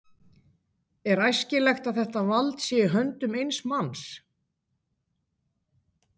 Er æskilegt að þetta vald sé í höndum eins manns?